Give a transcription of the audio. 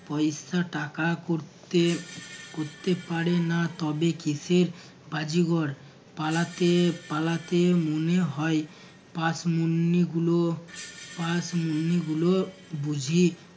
পয়সা টাকা করতে কোরতে পারে না তবে কীসের বাজিগর পালাতে পালাতে মনে হয় গুলো গুলো বুঝিয